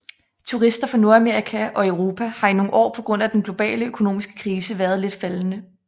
Turister fra Nordamerika og Europa har i nogle år på grund af den globale økonomiske krise været lidt faldende